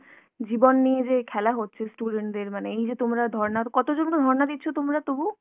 জীবন নিয়ে যে এই খেলা হচ্ছে student দের মানে এই যে তোমরা ধর্না, কতজন গো ধর্না দিচ্ছ তোমরা তবু?